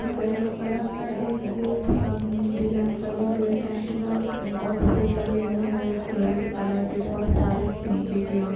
Yellow (yellow) colour (colour) का एक गोल सा म डिजाइन बनी हुई है टेंट (Tent) मे और फूल लगे हए हैं रेड (Red ) कलर के बहुत सारे नीचे की ओर।